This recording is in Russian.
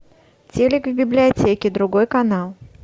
телик в библиотеке другой канал